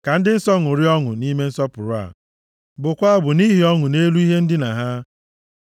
Ka ndị nsọ ṅụrịa ọṅụ nʼime nsọpụrụ a, bụkwaa abụ nʼihi ọṅụ nʼelu ihe ndina ha.